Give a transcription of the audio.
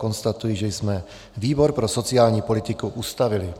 Konstatuji, že jsme výbor pro sociální politiku ustavili.